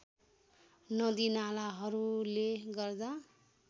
नदी नालाहरूले गर्दा